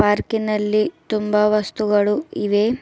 ಪಾರ್ಕಿ ನಲ್ಲಿ ತುಂಬ ವಸ್ತುಗಳು ಇವೆ.